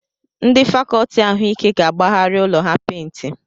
Ndị fàkọọtị ahụike ga-agbagharị ụlọ ha pèintị